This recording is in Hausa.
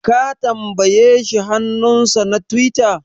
Ka tambaye shi hannunsa na tiwita?